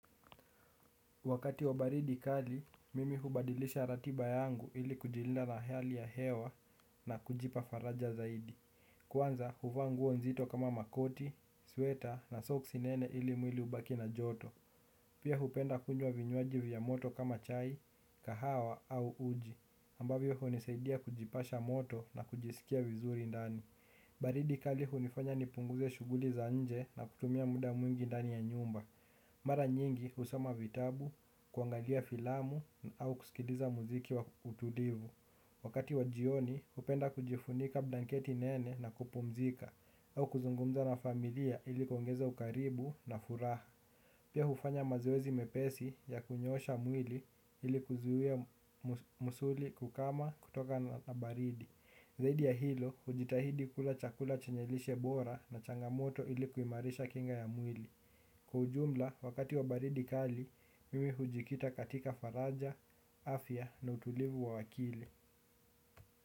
Wakati wa baridi kali, mimi hubadilisha ratiba yangu ili kujilinda na hali ya hewa na kujipa faraja zaidi. Kwanza, huvaa nguo nzito kama makoti, sweta na soksi nene ili mwili ubaki na joto. Pia hupenda kunywa vinywaji vya moto kama chai, kahawa au uji. Ambavyo unisaidia kujipasha moto na kujisikia vizuri ndani. Baridi kali hunifanya nipunguze shughuli za nje na kutumia muda mwingi ndani ya nyumba. Mara nyingi usoma vitabu, kuangalia filamu, au kusikiliza muziki wa utulivu. Wakati wa jioni, upenda kujifunika blanketi nene na kupumzika, au kuzungumza na familia ilikuongeza ukaribu na furaha. Pia hufanya mazoezi mepesi ya kunyoosha mwili ilikuzuia musuli kukama kutoka na baridi. Zaidi ya hilo, ujitahidi kula chakula chenyelishe bora na changamoto ilikuimarisha kinga ya mwili. Kwa ujumla wakati wabaridi kali mimi hujikita katika faraja, afya na utulivu wa wakili.